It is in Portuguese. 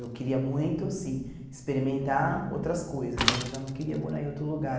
Eu queria muito, sim, experimentar outras coisas, mas eu já não queria morar em outro lugar.